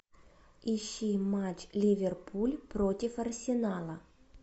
ищи матч ливерпуль против арсенала